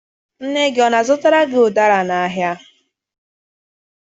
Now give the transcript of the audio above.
Nne gị ọ na-azụtara gị ụdara n'ahịa?